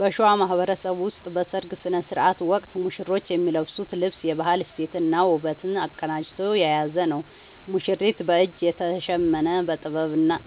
በሸዋ ማህበረሰብ ውስጥ በሠርግ ሥነ ሥርዓት ወቅት ሙሽሮች የሚለብሱት ልብስ የባህል እሴትንና ውበትን አቀናጅቶ የያዘ ነው፦ ሙሽሪት፦ በእጅ የተሸመነ: